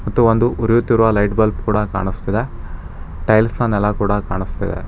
ಮತ್ತು ಒಂದು ಉರಿಯುತ್ತಿರುವ ಲೈಟ್ ಬಲ್ಬ್ ಕೂಡ ಕಾಣಸ್ತಿದೆ ಟೈಲ್ಸ್ ನ ನೆಲ ಕೂಡ ಕಾಣಸ್ತಿದೆ.